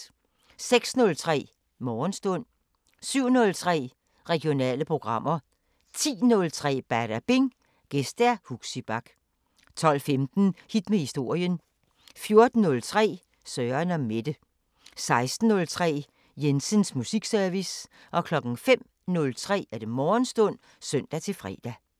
06:03: Morgenstund 07:03: Regionale programmer 10:03: Badabing: Gæst Huxi Bach 12:15: Hit med historien 14:03: Søren & Mette 16:03: Jensens musikservice 05:03: Morgenstund (søn-fre)